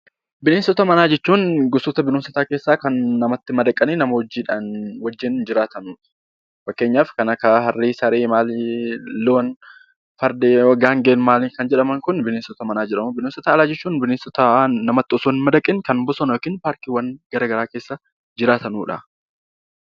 Bineensota manaa jechuun gosoota bineensota namatti madaqanii nama wajjin jiraatan fakkeenyaaf kan akka harree, saree fi loon, farda, gaangee jedhaman Kun bineensota manaa jedhamu. Bineensota alaa jechuun bineensota namatti osoo hin madaqiin bosona yookiin paarkiiwwan keessa jiraatanidha.